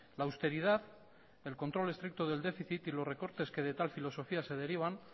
la austeridad el control estricto del déficit y los recortes que de tal filosofía se derivan